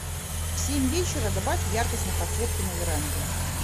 в семь вечера добавь яркость на подсветке на веранде